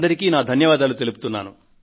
మీ అందరికీ నా ధన్యవాదములు